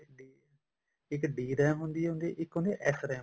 ਇੱਕ DRAM ਹੁੰਦੀ ਆ ਇੱਕ ਹੁੰਦੀ ਆ SRAM